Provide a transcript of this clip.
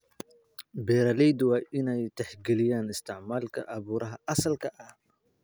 Beeraleydu waa inay tixgeliyaan isticmaalka abuurka asalka ah.